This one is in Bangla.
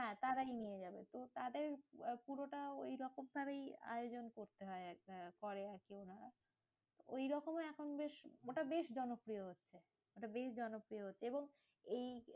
হ্যাঁ, তারাই নিয়ে যাবে তো তাদের পুরোটা ওই রকম ভাবেই arrange করতে হয় একটা। করে আরকি ওনারা ওই রকম এখন বেশ ওটা বেশ জনপ্রিয়। ওটা বেশ জনপ্রিয় হচ্ছে, এবং এই